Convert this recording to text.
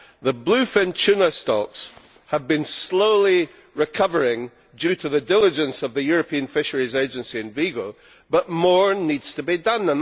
The bluefin tuna stocks have been slowly recovering due to the diligence of the European Fisheries Agency in Vigo, but more needs to be done.